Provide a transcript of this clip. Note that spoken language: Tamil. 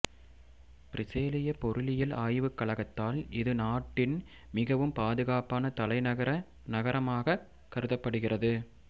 பிரேசிலிய பொருளியல் ஆய்வுக் கழகத்தால் இது நாட்டின் மிகவும் பாதுகாப்பான தலைநகர நகரமாகக் கருதப்படுகிறது